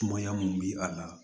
Mɔɲa mun bi a la